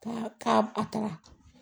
Ka k'a a taara